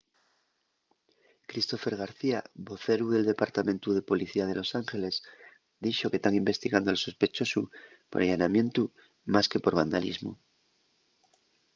christopher garcía voceru del departamentu de policía de los angeles dixo que tán investigando al sospechosu por allanamientu más que por vandalismu